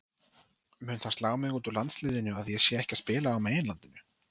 Mun það slá mig út úr landsliðinu að ég sé ekki að spila á meginlandinu?